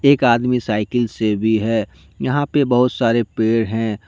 एक आदमी साइकिल से भी है। यहा पे बहुत सारे पेड़ हैं।